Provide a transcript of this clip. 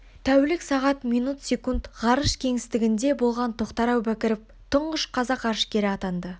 тәулік сағат минут секунд ғарыш кеңістігінде болған тоқтар әубәкіров тұңғыш қазақ ғарышкері атанды